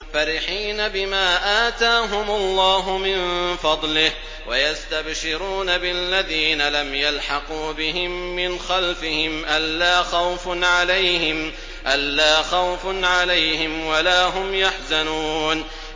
فَرِحِينَ بِمَا آتَاهُمُ اللَّهُ مِن فَضْلِهِ وَيَسْتَبْشِرُونَ بِالَّذِينَ لَمْ يَلْحَقُوا بِهِم مِّنْ خَلْفِهِمْ أَلَّا خَوْفٌ عَلَيْهِمْ وَلَا هُمْ يَحْزَنُونَ